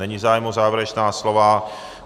Není zájem o závěrečná slova.